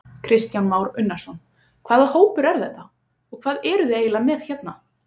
Kristján Már Unnarsson: Hvaða hópur er þetta og hvað eruð þið eiginlega með hérna?